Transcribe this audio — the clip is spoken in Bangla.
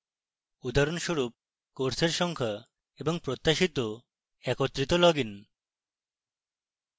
উদাহরণস্বরূপ: courses সংখ্যা এবং প্রত্যাশিত একত্রিত logins